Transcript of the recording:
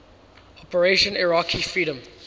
operation iraqi freedom